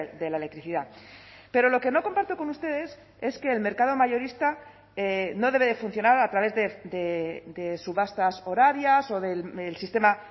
de la electricidad pero lo que no comparto con ustedes es que el mercado mayorista no debe de funcionar a través de subastas horarias o del sistema